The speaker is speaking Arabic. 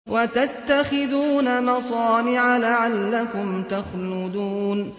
وَتَتَّخِذُونَ مَصَانِعَ لَعَلَّكُمْ تَخْلُدُونَ